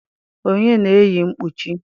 onye na-eyi mkpuchi?